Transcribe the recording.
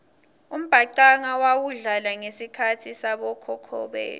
umbhacanga wawudlala ngesikhatsi sabokhokho betfu